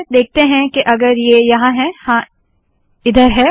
देखते है के अगर ये यहाँ है हाँ इधर है